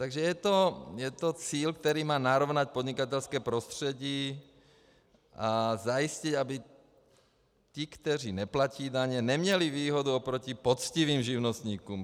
Takže je to cíl, který má narovnat podnikatelské prostředí a zajistit, aby ti, kteří neplatí daně, neměli výhodu oproti poctivým živnostníkům.